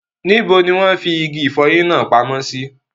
Níbo ni wọ́n fi igi ìfọyín náà pamọ́ sí?